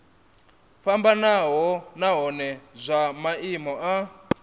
fhambanaho nahone zwa maimo a